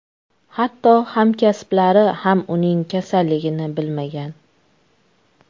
Hatto hamkasblari ham uning kasalligini bilmagan.